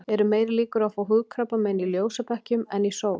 Eru meiri líkur á að fá húðkrabbamein í ljósabekkjum en í sól?